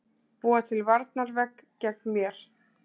Búa til varnarvegg gegn mér.